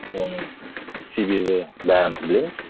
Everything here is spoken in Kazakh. оның себебі бәріміз білеміз